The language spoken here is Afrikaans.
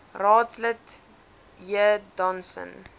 raadslid j donson